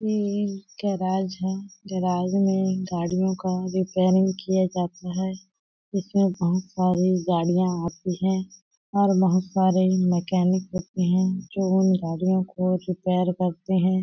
Meme के आवाज है गराज में गाड़ियों का रिपेरिंग किया जाता है इसमें बहुत सारे गाड़ियाँ आती है और बहुत सारे मैकेनिक करते है जो गाड़ियों को रिपेयर करते है।